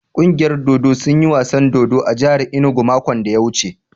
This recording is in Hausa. Ƙungiyar dodo sun yi wasan dodo a jahar inugu makon da ya wuce.